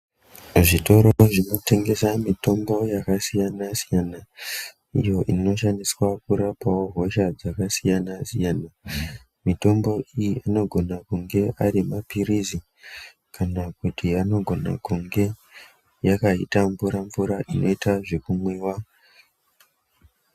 Zvitoro zvinotengesa mitombo yakasiyana-siyana iyo inoshandiswawo kurapa hosha dzakasiyana-siyana. Mitombo iyi inogona kunge ari maphirizi kana kuti anogone kunge yakaite mvura mvura inoite zvekumwiwa